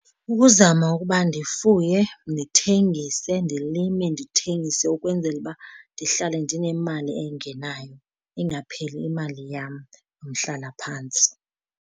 Ukuzama ukuba ndifuye ndithengise, ndilime ndithengise ukwenzela uba ndihlale ndinemali engenayo ingapheli imali yam yomhlalaphantsi.